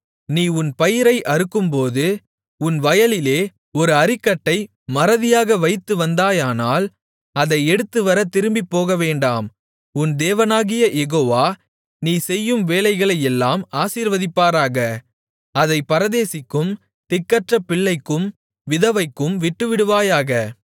நீ உன் பயிரை அறுக்கும்போது உன் வயலிலே ஒரு அரிக்கட்டை மறதியாக வைத்து வந்தாயானால் அதை எடுத்துவர திரும்பிப் போகவேண்டாம் உன் தேவனாகிய யெகோவா நீ செய்யும் வேலைகளையெல்லாம் ஆசீர்வதிப்பதற்காக அதைப் பரதேசிக்கும் திக்கற்ற பிள்ளைக்கும் விதவைக்கும் விட்டுவிடுவாயாக